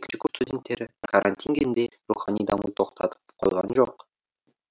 екінші курс студенттері карантин кезінде рухани дамуды тоқтатып қойған жоқ